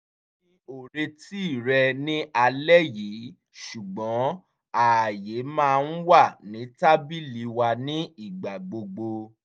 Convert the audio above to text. mi ò retí rẹ̀ ní álẹ́ yìí ṣùgbọ́n ààyè máa ń wà ní tábìlì wa ní ìgbà gbogbo